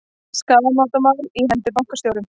Skaðabótamál á hendur bankastjórum